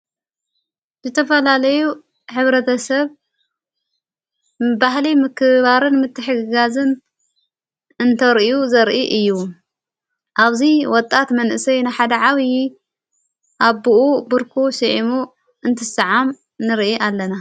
ዝተፈላለዩ ሕብረተሰብ ባህሊ ምክባርን ምትሕጋዝን እንተርዩ ዘርኢ እዩ ኣብዙይ ወጣት መንእሰይ ንሓደ ዓብዪ ኣብ ቡርኩ ስዕሙ እንትሰዓም ንርኢ ኣለና።